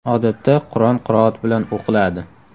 Odatda, Qur’on qiroat bilan o‘qiladi.